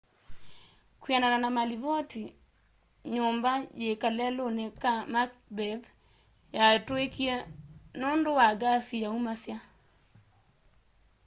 kwianana na malivoti nyumba yi kaleluni ka macbeth yatuikie nundu wa ngasi yaumasya